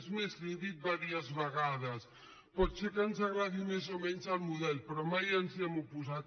és més li ho he dit diverses vegades pot ser que ens agradi més o menys el model però mai ens hi hem oposat